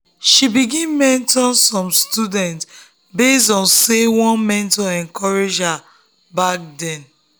she begin mentor students base on say one mentor encourage her back then.